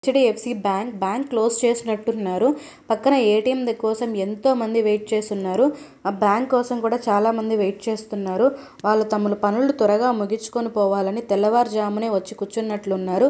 HDFC bank .bank close చేసినట్టు ఉన్నారు. పక్కన ఏ_టీ_ఎం కోసం ఎంతోమంది వెయిట్ చేస్తూ ఉన్నారు. ఆ బ్యాంక్ కోసం కూడా చాలామంది వెయిట్ చేస్తున్నారు. వాళ్లు తమ పనుల్ని త్వరగా ముగించుకు పోవాలని తెల్లవారుజామునే వచ్చి కూర్చున్నట్టున్నారు.